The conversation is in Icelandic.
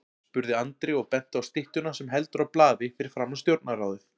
spurði Andri og benti á styttuna sem heldur á blaði fyrir framan Stjórnarráðið.